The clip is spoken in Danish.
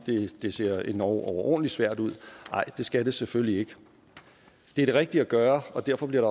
det ser endog overordentlig svært ud nej det skal det selvfølgelig ikke det er det rigtige at gøre og derfor bliver